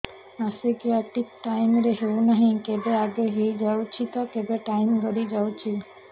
ମାସିକିଆ ଠିକ ଟାଇମ ରେ ହେଉନାହଁ କେବେ ଆଗେ ହେଇଯାଉଛି ତ କେବେ ଟାଇମ ଗଡି ଯାଉଛି